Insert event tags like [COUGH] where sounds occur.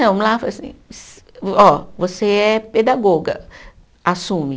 Não, lá, [UNINTELLIGIBLE] ó, você é pedagoga, assume.